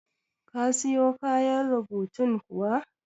Ka siyo kayan rubutun kuwa?